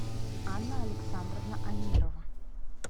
анна александровна амирова